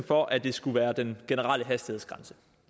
for at det skulle være den generelle hastighedsgrænse